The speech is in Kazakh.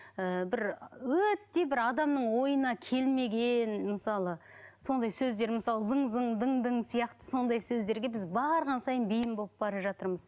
ыыы бір өте бір адамның ойына келмеген мысалы сондай сөздер мысалы зың зың дың дың сияқты сондай сөздерге біз барған сайын бейім болып бара жатырмыз